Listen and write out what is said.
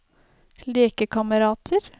lekekamerater